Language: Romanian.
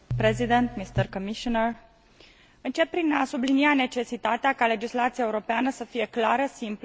Încep prin a sublinia necesitatea ca legislația europeană să fie clară, simplă, ușor de înțeles și accesibilă tuturor.